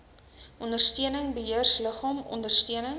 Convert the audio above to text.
ondersteuning beheerliggaam ondersteuning